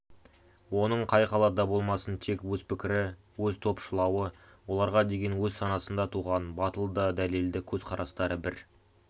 оның қай салада болмасын тек өз пікірі өз-топшылауы оларға деген өз санасында туған батыл да дәлелді көзқарастары бір